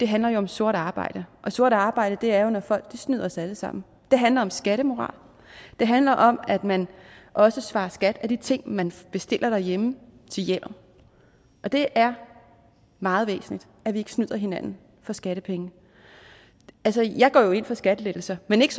handler om sort arbejde og sort arbejde er når folk snyder os alle sammen det handler om skattemoral og det handler om at man også svarer skat af de ting man bestiller derhjemme til hjemmet og det er meget væsentligt at vi ikke snyder hinanden for skattepenge jeg går jo ind for skattelettelser men ikke